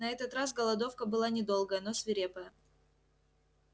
на этот раз голодовка была недолгая но свирепая